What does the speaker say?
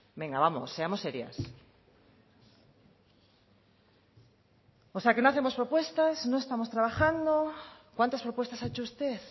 venga vamos seamos serias o sea que no hacemos propuestas no estamos trabajando cuántas propuestas ha hecho usted